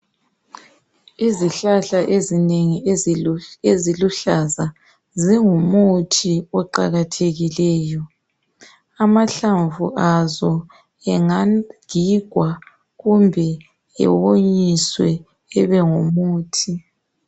Izihlahla ezinengi eziluhlaza zingumuthi oqakathekileyo. Amahlamvu azo engagigwa kumbe ewonyiswe ebengumuthi.